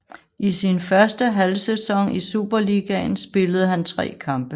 I sin første halvsæson i Superligaen spillede han tre kampe